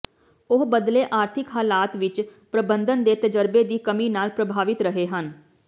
ਉਹ ਬਦਲੇ ਆਰਥਿਕ ਹਾਲਾਤ ਵਿੱਚ ਪ੍ਰਬੰਧਨ ਦੇ ਤਜਰਬੇ ਦੀ ਕਮੀ ਨਾਲ ਪ੍ਰਭਾਵਿਤ ਰਹੇ ਹਨ